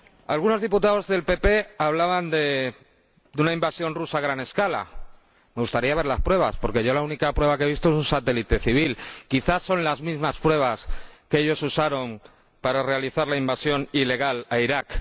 Algunos diputados del Grupo PPE hablaban de una invasión rusa a gran escala me gustaría ver las pruebas, porque yo la única prueba que he visto es un satélite civil —quizás son las mismas pruebas que ellos usaron para realizar la invasión ilegal de Irak—.